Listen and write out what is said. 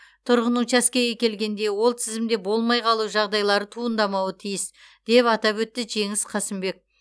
тұрғын учаскеге келгенде ол тізімде болмай қалу жағдайлары туындамауы тиіс деп атап өтті жеңіс қасымбек